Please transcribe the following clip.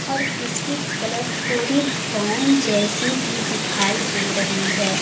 और इसकी कलर थोड़ी ब्राउन जैसी भी दिखाई दे रही है।